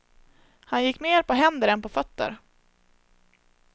Han gick mer på händer än på fötter.